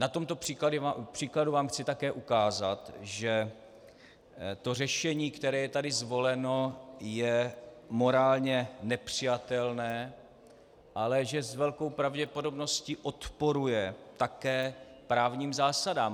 Na tomto příkladu vám chci také ukázat, že to řešení, které je tady zvoleno, je morálně nepřijatelné, ale že s velkou pravděpodobností odporuje také právním zásadám.